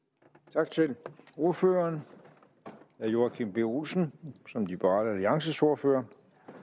tak til ordføreren herre joachim b olsen som liberal alliances ordfører